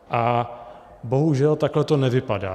A bohužel takhle to nevypadá.